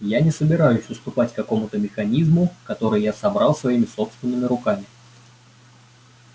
я не собираюсь уступать какому-то механизму который я собрал своими собственными руками